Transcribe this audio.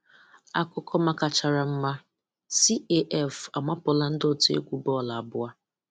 Akụkọ makachara mma: CAF amapụla ndị òtù egwu bọọlụ abụọ.